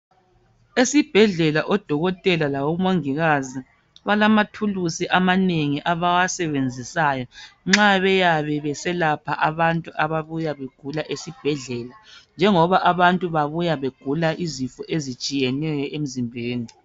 Esibhedlela odokotela labomongikazi balamathulusi amanengi abawasebenzisayo nxa beyabe beselapha abantu ababuya begula esibhedlela, njengoba abantu babuya begula izifo ezitshiyeneyo emzimbeni.